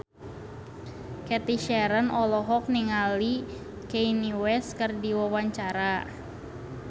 Cathy Sharon olohok ningali Kanye West keur diwawancara